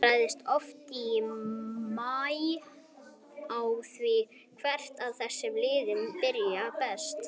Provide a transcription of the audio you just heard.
Þetta ræðst rosalega oft í maí á því hvert af þessum liðum byrjar best.